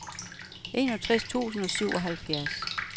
enogtres tusind og syvoghalvfjerds